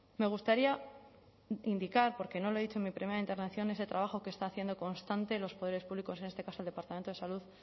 me gustaría indicar porque no lo he dicho en mi primera intervención ese trabajo que están haciendo constante los poderes públicos en este caso el departamento de salud